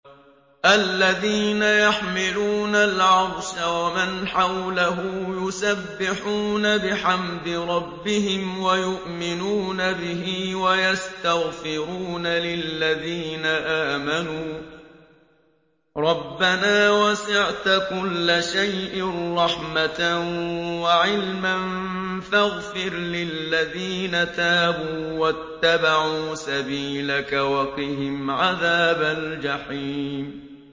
الَّذِينَ يَحْمِلُونَ الْعَرْشَ وَمَنْ حَوْلَهُ يُسَبِّحُونَ بِحَمْدِ رَبِّهِمْ وَيُؤْمِنُونَ بِهِ وَيَسْتَغْفِرُونَ لِلَّذِينَ آمَنُوا رَبَّنَا وَسِعْتَ كُلَّ شَيْءٍ رَّحْمَةً وَعِلْمًا فَاغْفِرْ لِلَّذِينَ تَابُوا وَاتَّبَعُوا سَبِيلَكَ وَقِهِمْ عَذَابَ الْجَحِيمِ